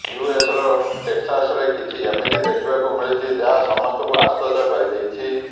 US ର ଟେକ୍ସାସରେ କିଛି ଏମିତି ଦେଖିବାକୁ ମିଳିଛି ଯାହା ସମସ୍ତଙ୍କୁ ଆଶ୍ଚର୍ଯ୍ୟ କରିଦେଇଛି